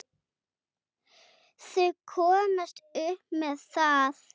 Þau komast upp með það!